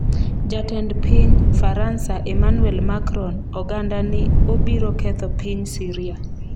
Jatend piny Faransa, Emmanuel Macron, oganda ni obiro ketho piny Siria